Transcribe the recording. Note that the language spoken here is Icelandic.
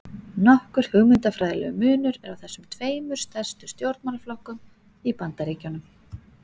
Nokkur hugmyndafræðilegur munur er á þessum tveimur stærstu stjórnmálaflokkum í Bandaríkjunum.